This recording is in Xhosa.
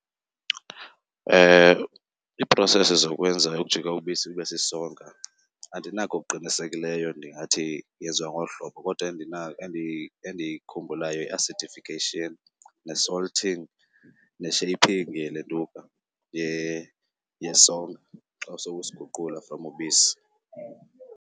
Iiprosesi zokwenza ukujika ubisi lube sisonka andinako okuqinisekileyo ndingathi yenziwa ngolu hlobo, kodwa endiyikhumbulayo yi-acidification ne-salting ne-shaping yelentuka yesonka xa sowusiguqula from ubisi.